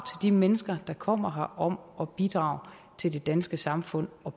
de mennesker der kommer her om at bidrage til det danske samfund og